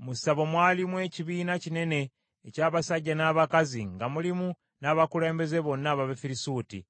Mu ssabo mwalimu ekibiina kinene eky’abasajja n’abakazi nga mulimu n’abakulembeze bonna ab’Abafirisuuti.